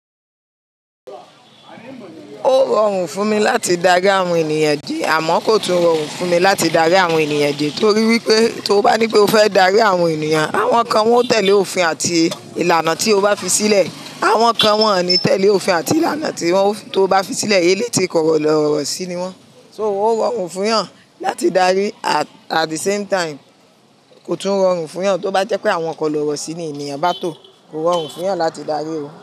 Ó rọrùn fún mi láti darí àwọn ènìyàn jí àmọ́ kò tún rọrùn fún mi láti darí àwọn ènìyàn jẹ. Torí wípé tó bá ní pé o fẹ́ darí àwọn ènìyàn, àwọn kan wọn ó tẹ̀lé òfin àti ìlànà tí o bá fi sílẹ̀. Àwọn kan wọn ò ní tẹ̀lé òfin àti ìlànà tí tó bá fi sílẹ̀ eléti kọ̀rọ̀lọ̀rọ̀ sí ni wọ́n. So ó rọrùn fún èèyàn láti darí at the same time kò tún rọrùn fún èèyàn tó bá jẹ́ pé àwọn kọ̀rọ̀lọ̀rọ̀ sí ní ènìyàn bá tò kò rọrùn fún èèyàn láti darí wọn.